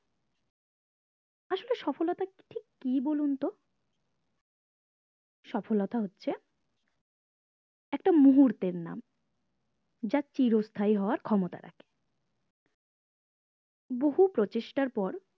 কি বলুন তো সফলতা হচ্ছে একটা মুহূর্তের নাম যা চিরস্তায়ী হওয়ার ক্ষমতা রাখে বহু প্রচেষ্টার পর